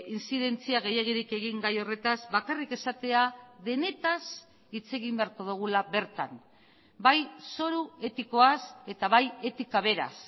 intzidentzia gehiegirik egin gai horretaz bakarrik esatea denetaz hitz egin beharko dugula bertan bai zoru etikoaz eta bai etika beraz